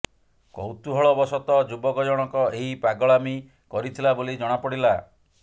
କେବଳ କୌତୂହଳବଶତଃ ଯୁବକ ଜଣକ ଏହି ପାଗଳାମି କରିଥିଲା ବୋଲି ଜଣାପଡ଼ିଲା